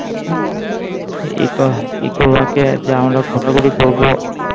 eco park যে আমরা ঘোরা ঘুড়ি করবো